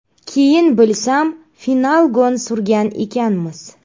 Keyin bilsam «Finalgon» surgan ekanmiz.